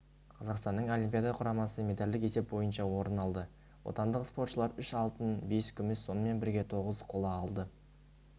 қазақстанның олимпиада құрамасы медальдік есеп бойынша орын алды отандық спортшылар үш алтын бес күміс сонымен бірге тоғыз қола алды